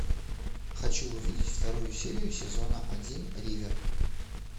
хочу увидеть вторую серию сезона один ривер